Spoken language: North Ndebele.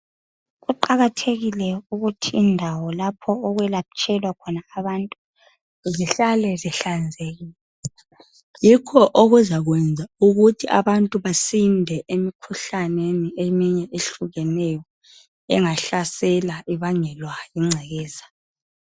Kuqakathekile ukuthi indawo lapho okwelatshelwa khona abantu zihlale zihlanzekile yikho okuzakwenza ukuthi abantu basinde emkhuhlaneni eminye ehlukeneyo engahlaselwa ibangelwa zingcekeza.